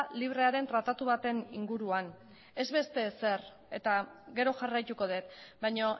librearen tratatu baten inguruan ez beste ezer eta gero jarraituko dut baina